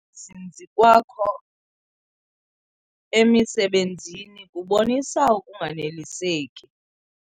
zinzi kwakho emisebenzini kubonisa ukunganeliseki.